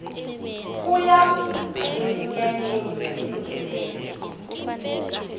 kuyavunywa eminyanyeni yesindebele